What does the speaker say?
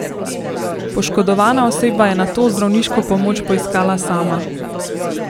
Poškodovana oseba je nato zdravniško pomoč poiskala sama.